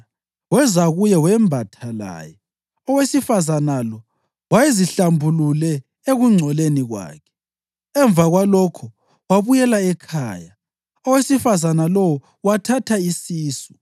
UDavida wathuma izithunywa ukuyamthatha. Weza kuye, wembatha laye. (Owesifazane lo wayezihlambulule ekungcoleni kwakhe.) Emva kwalokho wabuyela ekhaya.